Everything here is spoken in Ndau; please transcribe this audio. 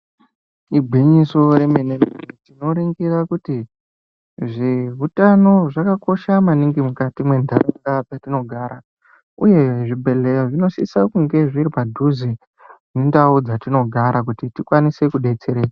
Igwinyiso remene-mene, tinoringira kuti, zveutano zvakakosha maningi mukati mwentaraunda dzetingara, uye zvibhedhleya zvinosisa kunga zviri padhuze nendau dzatinogara kuti tikwanise kudetsereka.